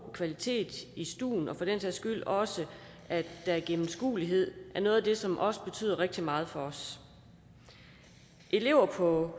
kvalitet i stuen og for den sags skyld også at der er gennemskuelighed er noget af det som også betyder rigtig meget for os elever på